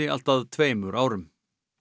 allt að tveimur árum